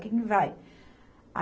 Quem que vai?